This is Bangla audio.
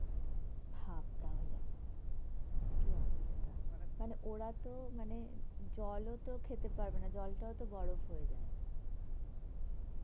ভাব তাহলে, কি অবস্থা. মানে ওরা তো মানে, জল ও তো খেতে পারবে না. জলটাও তো বরফ হয়ে যায়.